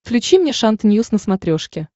включи мне шант ньюс на смотрешке